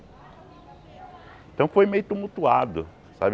Então foi meio tumultuado, sabe?